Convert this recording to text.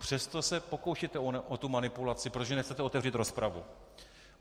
Přesto se pokoušíte o tu manipulaci, protože nechcete otevřít rozpravu.